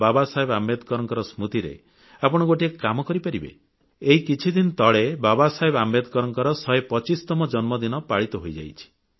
ବାବାସାହେବ ଆମ୍ବେଦକରଙ୍କ ସ୍ମୃତିରେ ଆପଣ ଗୋଟିଏ କାମ କରିପାରିବେ ଏହି କିଛିଦିନ ତଳେ ବାବାସାହେବ ଆମ୍ବେଦକରଙ୍କ 125ତମ ଜନ୍ମଦିନ ପାଳିତ ହୋଇଯାଇଛି